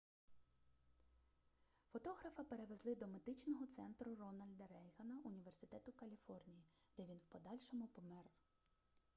фотографа перевезли до медичного центру рональда рейгана університету каліфорнії де він в подальшому помер